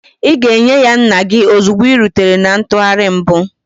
Ị ga-enye ya nna gị ozugbo ị rutere na ntụgharị mbụ.